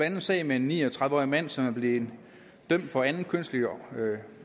en sag med en ni og tredive årig mand som er blevet dømt for anden kønslig